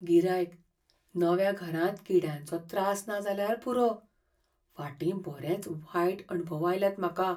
गिरायकः "नव्या घरांत किड्यांचो त्रास ना जाल्यार पुरो, फाटीं बरेंच वायट अणभव आयल्यात म्हाका."